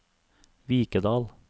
Vikedal